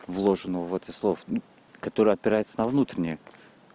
вложенного в этих слов которые опирается на внутреннюю